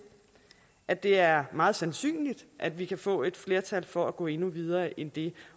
at det er meget sandsynligt at vi kan få et flertal for at gå endnu videre end det